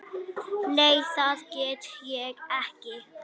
Nei það get ég ekki.